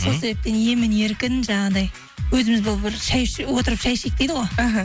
сол себептен емін еркін жаңағындай өзіміз болып отырып шәй ішейік дейді ғой іхі